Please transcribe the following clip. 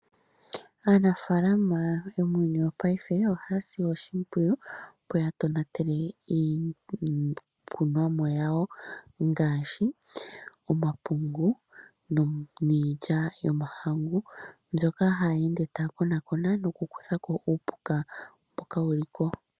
Aanafalama yomuuyuni wongaashingeyi ohaya si oshimpwiyu opo ya tonatele iikunomwa yawo ngaashi omapungu niilya yomahangu mbyono ha yeende taya konakona nokukuthako uupuka mboka wu liko.